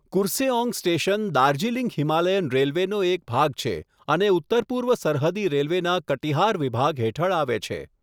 Kurseong station Darjeeling Himalayan રેલ્વેનો એક ભાગ છે અને ઉત્તરપૂર્વ સરહદી રેલ્વેના કટિહાર વિભાગ હેઠળ આવે છે.